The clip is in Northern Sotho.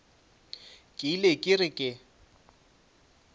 ke ile ke re ke